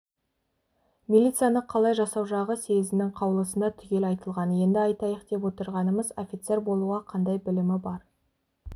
милицияны қалай жасау жағы съезінің қаулысында түгел айтылған енді айтайық деп отырғанымыз офицер болуға қандай білімі бар